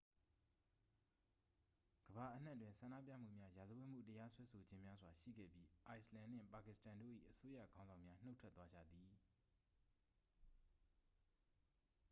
ကမ္ဘာအနှံ့တွင် ဆန္ဒပြမှုများ ရာဇဝတ်မှု တရားစွဲဆိုခြင်းများစွာ ရှိခဲ့ပြီး အိုက်စ်လန်နှင့် ပါကစ္စတန်တို့၏ အစိုးရခေါင်းဆောင်များ နှုတ်ထွက်သွားကြသည်